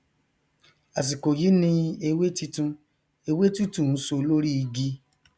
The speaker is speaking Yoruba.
àsìkò yí ni ewé titun ewé tútù ń so lórí igi